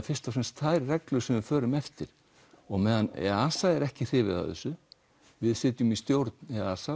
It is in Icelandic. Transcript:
fyrst og fremst þær reglur sem við förum eftir á meðan er ekki hrifið af þessu við sitjum þar í stjórn